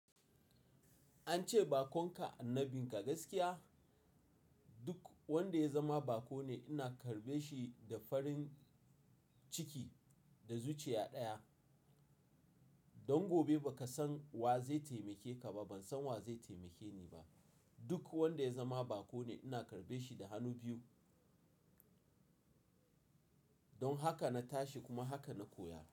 An ce bakon ka annabin ka gaskiya. Duk wanda ya zama bako ne ina karbe shi da farin ciki da zuciya ɗaya. Don gobe ba ka san wa zai taimake ka ba. Ban san wa zai taimake ni ba. Duk wanda ya zama bako ne ina karbe shi da hannu biyu. Don haka na tashi kuma haka na koya.